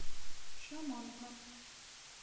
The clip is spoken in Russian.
шаманка